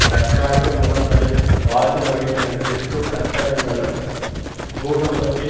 தற்காலிக முகாம்களில் வாழ்ந்து வருகின்றனர் இருக்கும் கட்டடங்களும் பூகம்பத்தின்